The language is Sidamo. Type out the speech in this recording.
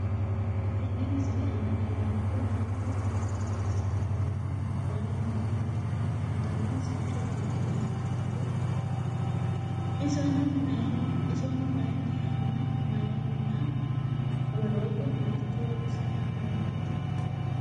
Tinne misile Anna leelanori maati? Mannu maa assanni nooho? Mannu meu danni sicco amade nooya? isonno mayiinniha nna mayiinniha? woloottu maricho loosanni nooreetti?